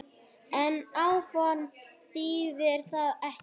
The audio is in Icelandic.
En áform þýðir það ekki.